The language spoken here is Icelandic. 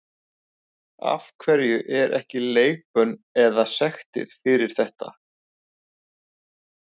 Af hverju er ekki leikbönn eða sektir fyrir þetta?